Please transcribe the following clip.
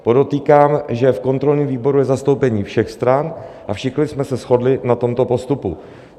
Podotýkám, že v kontrolním výboru je zastoupení všech stran a všichni jsme se shodli na tomto postupu.